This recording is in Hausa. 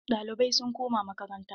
Ɗalibai sun koma makaranta.